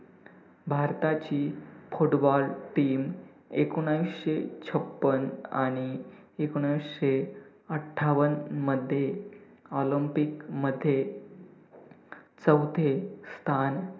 भारताची footballteam एकोणविसशे छप्पन आणि एकोणविसशे अठ्ठावनमध्ये olympic मध्ये चौथे स्थान